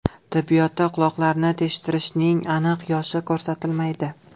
Tibbiyotda quloqlarni teshdirishning aniq yoshi ko‘rsatilmaydi.